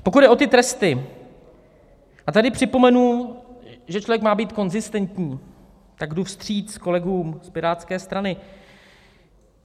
Pokud jde o ty tresty, a tady připomenu, že člověk má být konzistentní, tak jdu vstříc kolegům z Pirátské strany.